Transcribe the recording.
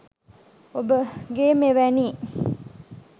ඔබගේ මෙවැනි